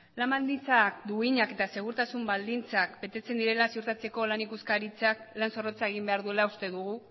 lan baldintza duinak eta segurtasun baldintzak betetzen direla ziurtatzeko lan ikuskaritzak lan zorrotza egin behar duela uste dugu